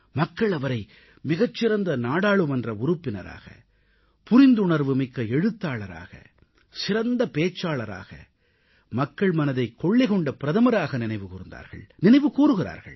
மக்கள் அவரை மிகச் சிறந்த நாடாளுமன்ற உறுப்பினராக புரிந்துணர்வுமிக்க எழுத்தாளராக சிறந்த பேச்சாளராக மக்கள் மனதைக் கொள்ளை கொண்ட பிரதமராக நினைவு கூர்ந்தார்கள் நினைவு கூர்கிறார்கள்